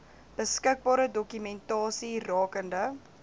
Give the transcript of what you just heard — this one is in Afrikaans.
beskikbare dokumentasie rakende